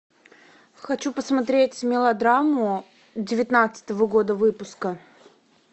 хочу посмотреть мелодраму девятнадцатого года выпуска